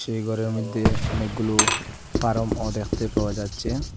এই গরের মইদ্যে অনেকগুলো ফারাম -ও দ্যাখতে পাওয়া যাচচে।